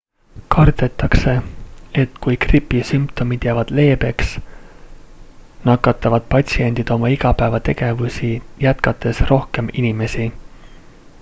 kardetakse et kui gripi sümptomid jäävad leebeks nakatavad patsiendid oma igapäevategevusi jätkates rohkem inimesi